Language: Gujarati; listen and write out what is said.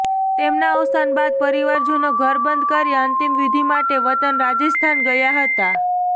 તેમના અવસાન બાદ પરિવારજનો ઘર બંધ કરી અંતિમવિધિ માટે વતન રાજસ્થાન ગયા હતા